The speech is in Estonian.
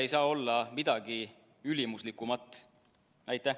Ei ole midagi ülimuslikumat põhiseadusest.